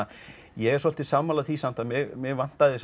ég er svolítið sammála því samt að mig vantaði